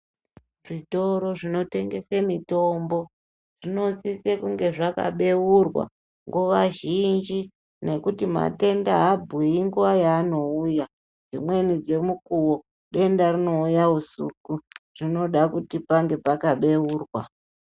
Zvitoro zvinotengesa mitombo zvinosisa kunge zvakabeurwa nguva zhinji ngekuti matenda aabhuyi nguva yaanouya dzimweni dzemukuwo denda rinouya usuku zvinoda kuti pange pakabeurwa .